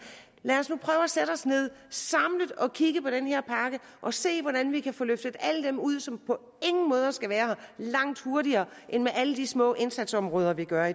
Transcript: lad os nu prøve at sætte os ned samlet og kigge på den her pakke og se hvordan vi kan få løftet alle dem ud som på ingen måder skal være der langt hurtigere end med alle de små indsatsområder vi gør